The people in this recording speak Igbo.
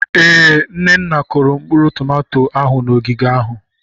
Ee, Nneka kụrụ mkpụrụ tomato ahụ n'ogige ahụ.